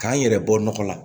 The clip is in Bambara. K'an yɛrɛ bɔ nɔgɔ la